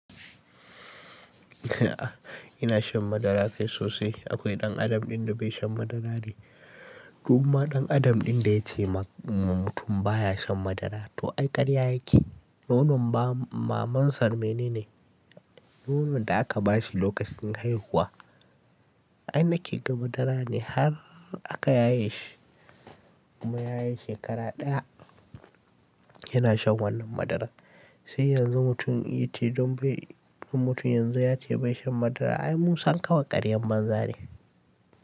A'a, ina shan madara kai sosai. Akwai ɗan adam ɗin da bai shan madara ne. Duk ma ɗan adam ɗin da ya ce ma mutum baya shan madara to ai ƙarya yake. Nonon maman sar menene ne, nonon da aka ba shi lokacin haihuwa. Ai na ke ga madara ne har aka yaye shi. Kuma ya yi shekara ɗaya yana shan wannan madarar. Sai yanzu mutum ya yi ce don bai, mutum yanzu ya ce bai shan madara ba. Ai musan ƙawar ƙaryan banza ne.